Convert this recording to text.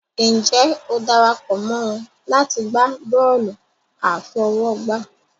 Ǹjẹ́ o dara pọ̀ mọ́ wọn láti gbá bọ́ọ̀lù àfọwọ́gbá?